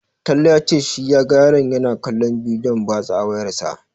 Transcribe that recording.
Talle ya ce shi ya ga yaron yana kallon bidiyon batsa a wayarsa.